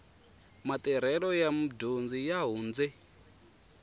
matirhelo ya mudyondzi ya hundze